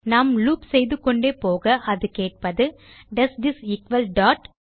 நாம் லூப் செய்துகொண்டே போக அது கேட்பது டோஸ் திஸ் எக்குவல் டாட்